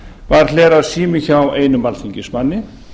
var hleraður sími hjá einum alþingismanni